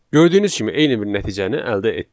Gördüyünüz kimi eyni bir nəticəni əldə etdik.